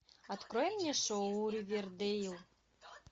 открой мне шоу ривердейл